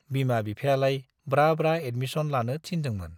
बिमा बिफायालाय ब्रा ब्रा एडमिस'न लानो थिनदोंमोन ।